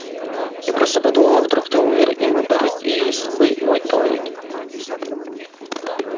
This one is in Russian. я просто подумала вдруг ты умер и мы бы разделили с тобой мой туалет